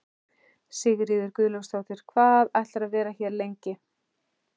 Sigríður Guðlaugsdóttir: Hvað ætlarðu að vera hérna lengi?